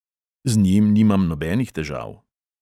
Z njim nimam nobenih težav.